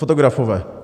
Fotografové.